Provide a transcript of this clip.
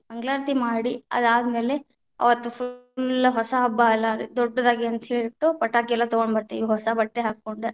ಮಂಗಳಾರತಿ ಮಾಡಿ ಅದಾದ ಮೇಲೆ ಅವತ್ತ full ಹೊಸ ಹಬ್ಬಾ ಅಲ್ಲಾ ದೊಡ್ಡದಾಗಿ ಅಂತಾ ಹೇಳ್ಬಿಟ್ಟು, ಪಟಾಕಿ ಎಲ್ಲಾ ತಗೊಂಡ ಬತೇ೯ವಿ. ಹೊಸ ಬಟ್ಟೆ ಹಾಕೊಂಡ.